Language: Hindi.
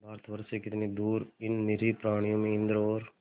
भारतवर्ष से कितनी दूर इन निरीह प्राणियों में इंद्र और